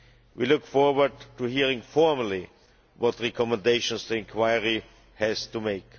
We look forward to hearing formally what recommendations the inquiry has to make.